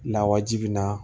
Lawaji in na